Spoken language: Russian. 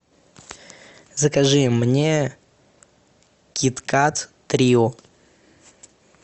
закажи мне кит кат трио